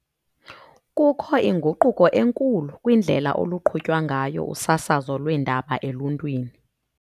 Kukho inguquko enkulu kwindlela oluqhutywa ngayo usasazo lweendaba eluntwini.